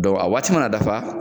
a waati mana dafa